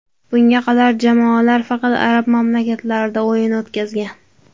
Bunga qadar jamoalar faqat arab mamlakatlarida o‘yin o‘tkazgan.